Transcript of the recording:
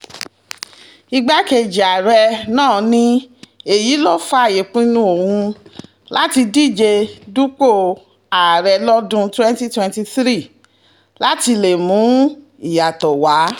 igbákejì ààrẹ náà ni èyí ló fa ìpinnu òun láti díje dupò ààrẹ lọ́dún twenty twenty three láti lè mú ìyàtọ̀ wá